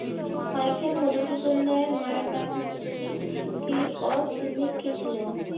Michael মধুসূদনের মায়ের নাম কী ও তিনি ছিলেন?